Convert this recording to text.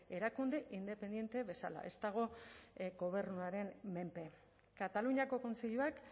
erakunde independente bezala ez dago gobernuaren menpe kataluniako kontseiluak